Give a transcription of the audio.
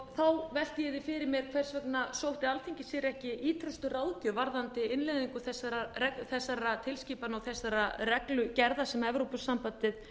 þá velti ég því fyrir mér hvers vegna sótti alþingi sér ekki ýtrustu ráðgjöf varðandi innleiðingu þessara tilskipana og þessarar reglugerða sem evrópusambandið